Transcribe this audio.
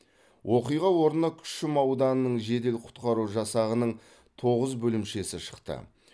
оқиға орнына күшім ауданының жедел құтқару жасағының тоғыз бөлімшесі шықты